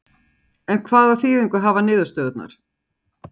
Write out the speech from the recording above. En hvaða þýðingu hafa niðurstöðurnar?